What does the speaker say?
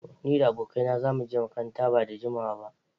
Ni da abokaina za mu je makaranta ba da jimawa ba.